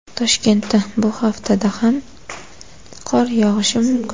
Toshkentda bu haftada ham qor yog‘ishi mumkin.